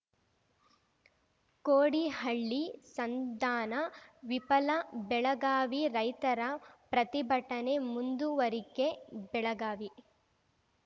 ಕೋಡಿಹಳ್ಳಿ ಸಂಧಾನ ವಿಫಲ ಬೆಳಗಾವಿ ರೈತರ ಪ್ರತಿಭಟನೆ ಮುಂದುವರಿಕೆ ಬೆಳಗಾವಿ